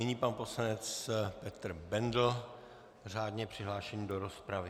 Nyní pan poslanec Petr Bendl řádně přihlášený do rozpravy.